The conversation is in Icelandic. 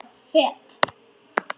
Föt